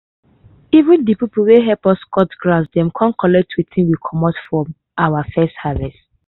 even de people wey help us cut grass dem come collect wetin we comot from our early harvest.